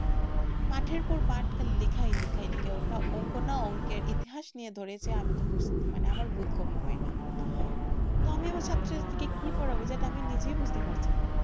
পাঠের পর পাঠ খালি লেখাই লেখাই লেখাই ওটা অঙ্ক না অঙ্কের ইতিহাস নিয়ে ধরেছে আমার বোধগম্য হয়নি তো আমি আমার ছাত্র ছাত্রীদের কি পড়াবো যেটা আমি নিজেই বুঝতে পারছি না,